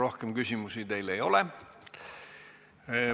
Rohkem küsimusi teile ei ole.